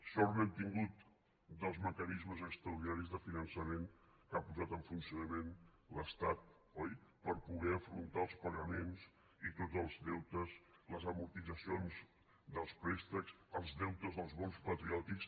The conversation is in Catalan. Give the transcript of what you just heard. sort n’hem tingut dels mecanismes extraordinaris de finançament que ha posat en funcionament l’estat oi per poder afrontar els pagaments i tots els deutes les amortitzacions dels préstecs els deutes dels bons patriòtics